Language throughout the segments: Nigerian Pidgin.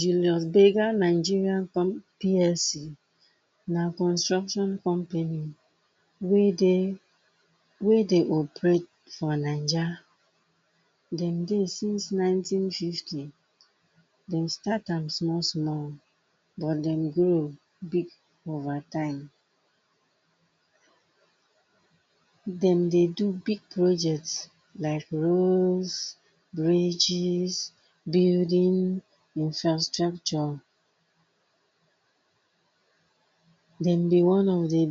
Julius Berger Nigerian com PlC, na construction company wey dey, wey dey operate for Naija. Dem dey since nineteen fifty dem start am small small but dem grow over time. Dem dey do big projects like roads, bridges, buildings infrastructure. Dem dey one of di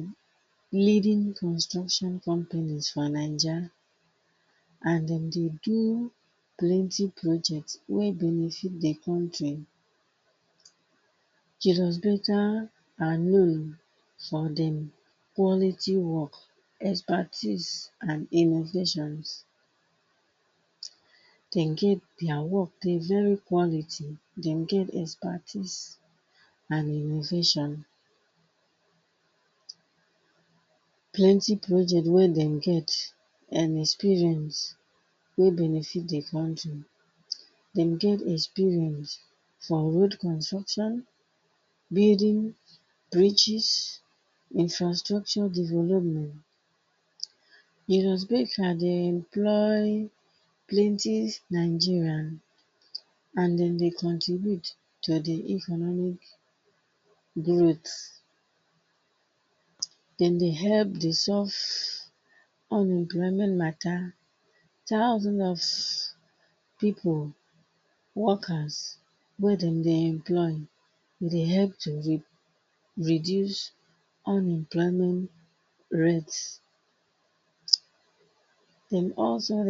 leading construction for Naija. And dem dey do plenty project wey benefit di country. Julius Berger are known for dem quality work expertise and innovations. Dem get deya work dey very quality, dem get expertise and innovation. Plenty project wey dem get and experience wey benefit the country. Dem get experience, for road construction, building, bridges infrastructure development. Julius Berger dey employed plenty Nigerian, and dem dey contribute to di economic growth. Dem dey help di solve un-employment mata, thousands of pipu workers wey dem dey employed. Dey help to di reduce unemployment rate. From also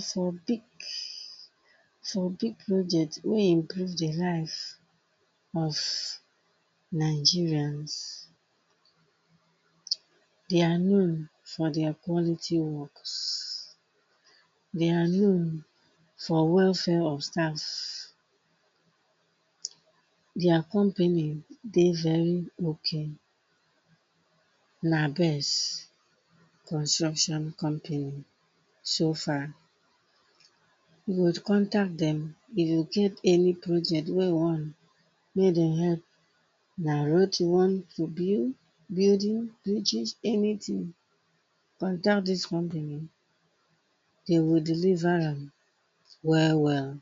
for big so project wey increase the life of Nigerians. Dey are known for deya quality works. Dey are known for welfare stands. their company dey very ok, na best construction company so far You go contact dem, dey go give any project wey you want, made dem help. Na road you want to build, building bridges anytin, contact dis company. Dey will deliver am, well well.